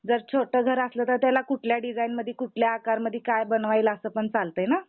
जो जर छोट घर असलं तर त्याला कुठल्या डिझाइनमध्ये कुठले आकारमधी काय बनवायला असं पण चालतय ना?